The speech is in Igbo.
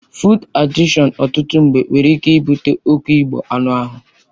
Fụụd adịkshọn ọtụtụ mgbe nwere ike ibute oke ịbu anụ ahụ.